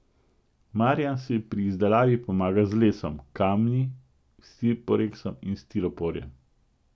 Marjan si pri izdelavi pomaga z lesom, kamni, siporeksom in stiroporjem.